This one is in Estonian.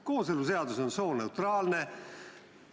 Kooseluseadus on sooneutraalne.